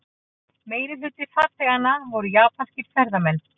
Meirihluti farþeganna voru japanskir ferðamenn